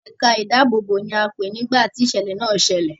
Ẹ̀ka ìdáàbòbò ni a pé nìgbá ti ìṣẹ̀lẹ̀ náà ṣẹlẹ̀.